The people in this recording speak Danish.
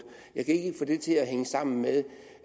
jeg kan ikke få det til at hænge sammen med